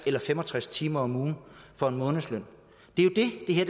eller fem og tres timer om ugen for en månedsløn det er jo